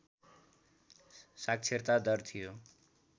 साक्षरता दर थियो